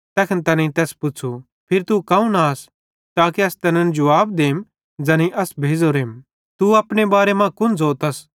तैखन तैनेईं तैस पुच्छ़ू फिरी तू कौन आस असन ज़ो ताके अस तैनन् जुवाब देम ज़ैनेईं अस भेज़ोरेम तू अपने बारे मां कुन ज़ोतस